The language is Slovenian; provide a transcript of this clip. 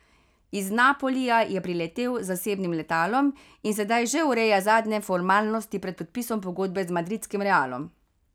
Iz Napolija je priletel z zasebnim letalom in sedaj že ureja zadnje formalnosti pred podpisom pogodbe z madridskim Realom.